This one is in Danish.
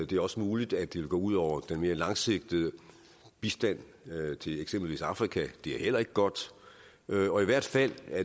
det er også muligt at det vil gå ud over den mere langsigtede bistand til eksempelvis afrika og det er heller ikke godt og i hvert fald er